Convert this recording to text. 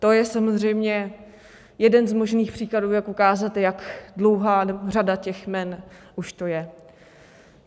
To je samozřejmě jeden z možných příkladů, jak ukázat, jak dlouhá řada těch jmen už to je.